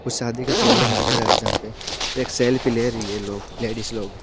कुछ शादी का प्रोग्राम दिख रहा है जहा पे एक सेल्फी ले रही है लोग लेडिज लोग--